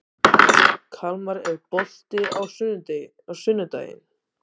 Kalmar, er bolti á sunnudaginn?